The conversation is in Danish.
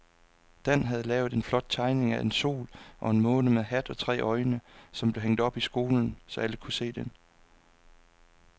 Dan havde lavet en flot tegning af en sol og en måne med hat og tre øjne, som blev hængt op i skolen, så alle kunne se den.